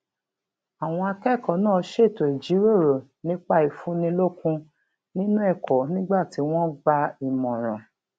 àwọn akẹkọọ náà ṣètò ìjíròrò nípa ìfúnnilókun nínú ẹkọ nígbà tí wọn ń gba ìmọràn